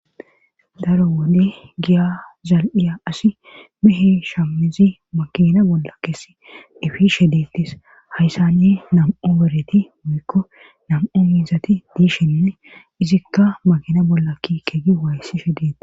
daro wode giya zal7iya asi mehe shammizi makina bolla keessi efi shedettis hayssani nam7u bereti muykko nam7u miizati diishinne izikka makina bolla kikegi waayssi shedetti